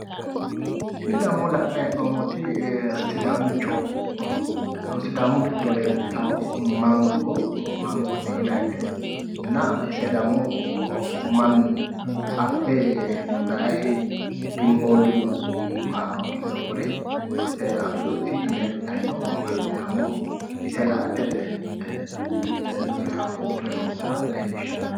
Tini damo la'nayi he'noomoti sidaancho sidaamu giddo leelitawo mango mangote yinayiite, na ise damo mannu abbe rayi ginboollu giddo wore ise abewooti leelitayi no mannu damo ise la'ate zuryaho uurre noota leelishano